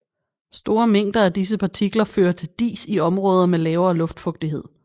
Store mængder af disse partikler fører til dis i områder med lavere luftfugtighed